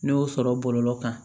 Ne y'o sɔrɔ bɔlɔlɔ kan